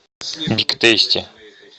биг тейсти